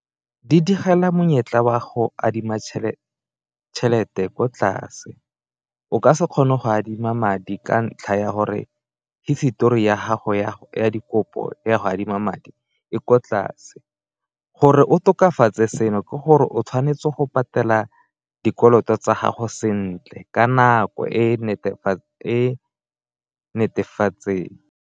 Di digela monyetla wa go adima tšhelete ko tlase, o ka se kgone go adima madi ka ntlha ya gore hisetori ya gago ya dikopo ya go adima madi e ko tlase. Gore o tokafatse seno ke gore o tshwanetse go patela dikoloto tsa gago sentle ka nako e netefetseng.